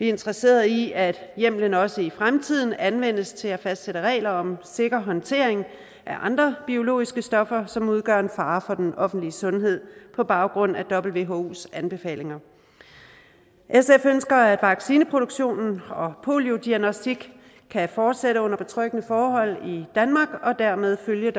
interesseret i at hjemmelen også i fremtiden anvendes til at fastsætte regler om sikker håndtering af andre biologiske stoffer som udgør en fare for den offentlige sundhed på baggrund af whos anbefalinger sf ønsker at vaccineproduktionen og poliodiagnostik kan fortsætte under betryggende forhold i danmark og dermed følge